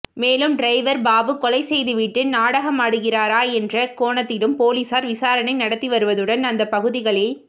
மேலும் டிரைவர் பாபு கொலை செய்து விட்டு நாடாகமாடுகிறாரா என்ற கோணத்திலும்போலீசார் விசாரணை நடத்தி வருவதுடன்அந்த பகுதகளில்